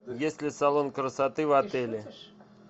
есть ли салон красоты в отеле